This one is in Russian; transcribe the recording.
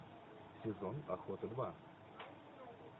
сезон охоты два